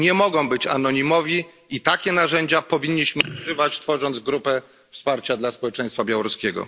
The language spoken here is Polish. Nie mogą być anonimowi i takich narzędzi powinniśmy używać w ramach grupy wsparcia dla społeczeństwa białoruskiego.